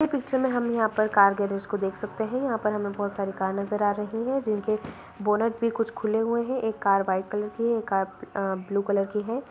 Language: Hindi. ये पिक्चर में हम यहाँ पर कार गैराज को देख सकते हैं यहाँ पर हमें बहुत सारी कार नजर आ रही हैं जिनके बोनट भी कुछ खुले हुए हैं एक कार वाइट कलर की है एक कार अ ब्लू कलर की है।